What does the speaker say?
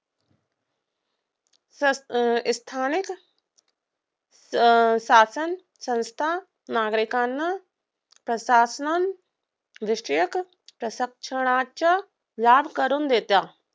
स्थानिक शासनसंस्था नागरिकांना प्रशासन दृष्टयक प्रशिक्षणाचा लाभ करून देतात.